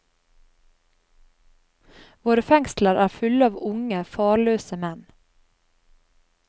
Våre fengsler er fulle av unge, farløse menn.